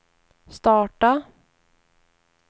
starta